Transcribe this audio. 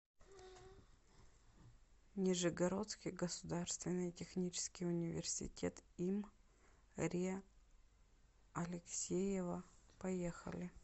нижегородский государственный технический университет им ре алексеева поехали